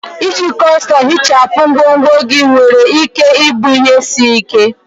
Iji kọstọm ihichapụ ngwongwo gị nwere ike ịbụ ihe isi ike.